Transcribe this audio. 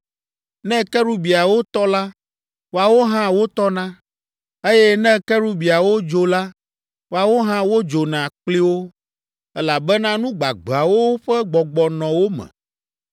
Ne kerubiawo tɔ la, woawo hã wotɔna, eye ne kerubiawo dzo la, woawo hã wodzona kpli wo, elabena nu gbagbeawo ƒe gbɔgbɔ nɔ wo me.